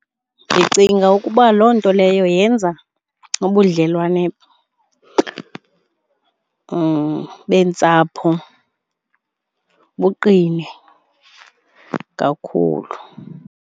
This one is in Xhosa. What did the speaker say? Ndicinga ukuba loo nto leyo yenza ubudlelwane beentsapho buqine kakhulu.